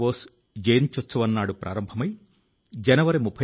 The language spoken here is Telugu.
దేశ భవిష్యత్తు కోసం వారు వారి నేటి కాలాన్ని వెచ్చిస్తున్నారు